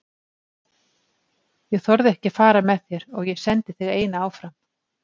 Ég þorði ekki að fara með þér og ég sendi þig eina áfram.